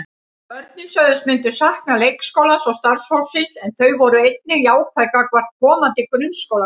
Börnin sögðust myndu sakna leikskólans og starfsfólksins en þau voru einnig jákvæð gagnvart komandi grunnskólagöngu.